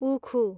उखु